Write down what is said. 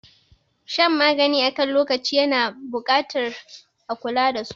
Shan magani akan lokaci yana buƙatar a kula dasu.